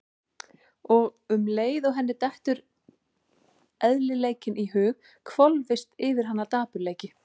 Og um leið og henni dettur eðlileikinn í hug hvolfist yfir hana dapurleiki.